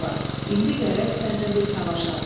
İndi gərək səndən bir savaşam.